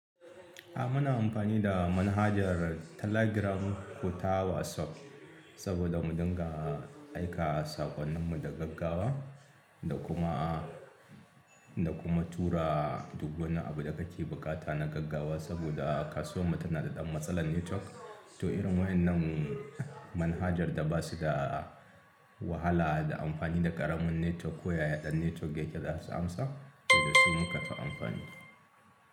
Ah, muna amfani da manhajar Telegram ko ta WhatsApp saboda mu dinga aika saƙonnin mu da gaggawa da kuma, da kuma tura duk wani abu da ka ke buƙata na gaggawa saboda kasuwar mu tana da ɗan matsalar network. To irin waɗannan manhajar da ba su da wahala da amfani da ƙaramin network ko ya ɗan network yake zasu amsa, so da su muka ta amfani.